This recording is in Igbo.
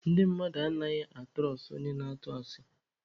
Ndị mmadụ anaghịkwa atụrọstụ onye na-atụ asị.